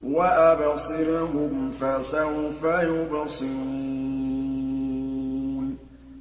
وَأَبْصِرْهُمْ فَسَوْفَ يُبْصِرُونَ